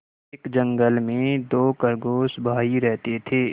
एक जंगल में दो खरगोश भाई रहते थे